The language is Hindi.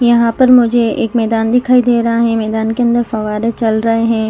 यहां पर मुझे एक मैदान दिखाई दे रहा है मैदान के अंदर फवारे चल रहे हैं।